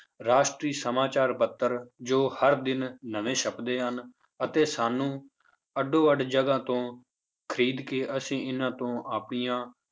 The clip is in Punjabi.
ਰਾਸ਼ਟਰੀ ਸਮਾਚਾਰ ਪੱਤਰ ਜੋ ਹਰ ਦਿਨ ਨਵੇਂ ਛੱਪਦੇ ਹਨ ਅਤੇ ਸਾਨੂੰ ਅੱਡੋ ਅੱਡ ਜਗ੍ਹਾ ਤੋਂ ਖ਼ਰੀਦ ਕੇ ਅਸੀਂ ਇਹਨਾਂ ਤੋਂ ਆਪਣੀਆਂ